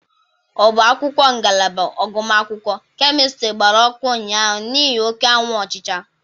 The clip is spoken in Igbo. Ọba akwụkwọ ngalaba agụmakwụkwọ Kemịstịrị gbara ọkụ ụnyaahụ niihi oke anwụ ọchịcha.